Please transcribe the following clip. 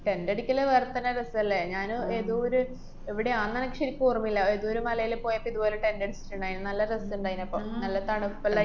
tent അടിക്കല് വേറെത്തന്നെ രസല്ലേ? ഞാന് ഏതൊരു എവടെയാന്നനക്ക് ശെരിക്കോര്‍മ്മയില്ല. ഏതോരു മലേല് പോയപ്പൊ ഇതുപോലെ tent അടിച്ചിട്ട്ണ്ടാര്ന്ന്. നല്ല രസ്ണ്ടായിരുന്നപ്പൊ. നല്ല തണുപ്പല്ലേ